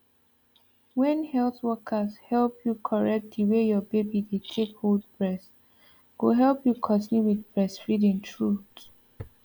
when health workers help you correct the way your baby dey take hold breast go help you continue with breastfeeding truth